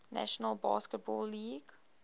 national basketball league